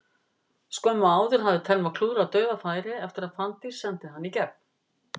Skömmu áður hafði Telma klúðrað dauðafæri eftir að Fanndís sendi hana í gegn.